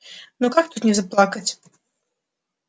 но как тут не заплакать